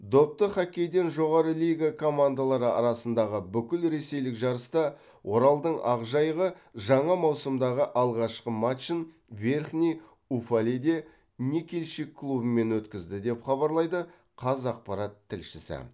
допты хоккейден жоғары лига командалары арасындағы бүкілресейлік жарыста оралдың ақжайығы жаңа маусымдағы алғашқы матчын верхний уфалейде никельщик клубымен өткізді деп хабарлайды қазақпарат тілшісі